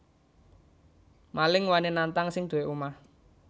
Maling wani nantang sing duwé omah